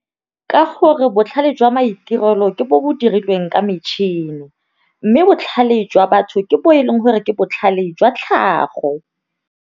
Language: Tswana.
Ka gore botlhale jwa maitirelo ke bo bo dirilweng ka metšhini, mme botlhale jwa batho ke bo e leng gore ke botlhale jwa tlhago.